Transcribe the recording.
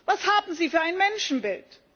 Was haben Sie für ein Menschenbild?